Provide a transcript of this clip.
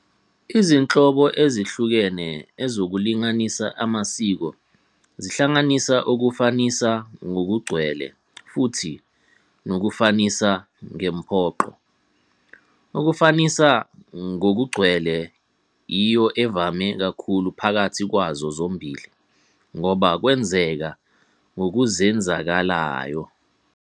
Izinhlobo ezehlukene ezokulinganisa amasiko zihlanganisa ukufanisa ngokugcwele futhi nokufanisa ngempoqo. Ukufanisa ngokugcwele iyo evame kakhulu phakathi kwazo zombili, ngoba kwenzeka ngokuzenzakalayo.